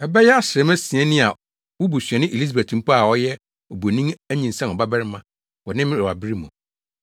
Ɛbɛyɛ asram asia ni a wo busuani Elisabet mpo a ɔyɛ obonin anyinsɛn ɔbabarima wɔ ne mmerewabere mu.